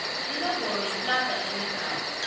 inomboro yeplada enegama